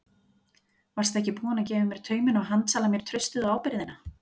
Varstu ekki búin að gefa mér tauminn og handsala mér traustið og ábyrgðina?